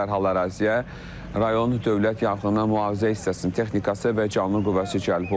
Dərhal əraziyə rayon Dövlət Yanğın Mühafizə hissəsinin texnikası və canlı qüvvəsi cəlb olunub.